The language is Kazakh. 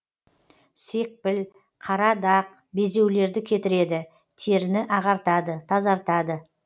секпіл қара дақ безеулерді кетіреді теріні ағартады тазартады